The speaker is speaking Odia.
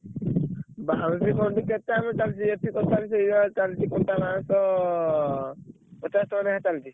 ବାଉଁଶି ଫଣ୍ଡି କେତେ ଆମେ ଚାଲିଚି ଏଠି ତଥାପି ସେଇ ଚାଲିଚି ବାଉଁଶ ପଚାଶ ଟଙ୍କା ଲେଖା ଚାଲିଚି।